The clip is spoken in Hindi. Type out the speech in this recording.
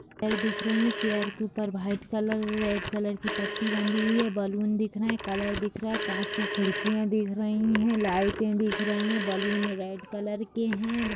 दिख रही है चेयर के ऊपर चेयर के ऊपर भाइट कलर रेड कलर की पट्टी बंधी हुई हैं बलून दिख रहे हैं कलर दिख रहे है कांच की खिड़किया दिख रही हैं लाइटें दिख रही हैं बलून रेड कलर के है ---